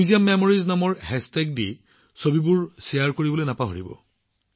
hashtag সংগ্ৰহালয় স্মৃতিত তাত তোলা আকৰ্ষণীয় ছবিবোৰ ভাগ বতৰা কৰিবলৈ নাপাহৰিব